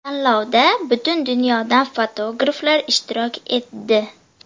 Tanlovda butun dunyodan fotograflar ishtirok etdi.